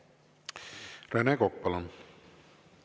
Rene Kokk, palun!